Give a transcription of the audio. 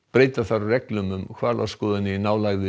breyta þarf reglum um hvalaskoðun í nálægð við